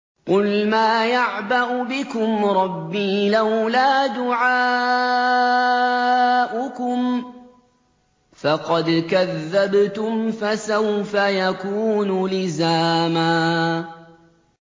قُلْ مَا يَعْبَأُ بِكُمْ رَبِّي لَوْلَا دُعَاؤُكُمْ ۖ فَقَدْ كَذَّبْتُمْ فَسَوْفَ يَكُونُ لِزَامًا